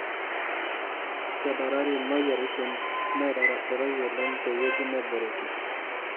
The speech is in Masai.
Kedarari moyiaritin naitarasaroi oleng tewueji neboreki.